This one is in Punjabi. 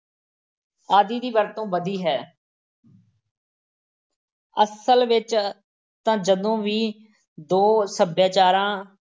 ਆਦਿ ਦੀ ਵਰਤੋਂ ਵਧੀ ਹੈ ਅਸਲ ਵਿੱਚ ਤਾਂ ਜਦੋਂ ਵੀ ਦੇ ਸੱਭਿਆਚਾਰਾਂ